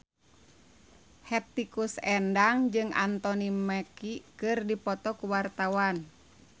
Hetty Koes Endang jeung Anthony Mackie keur dipoto ku wartawan